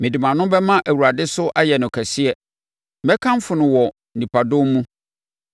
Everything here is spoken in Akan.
Mede mʼano bɛma Awurade so ayɛ no kɛseɛ; mɛkamfo no wɔ nnipadɔm mu.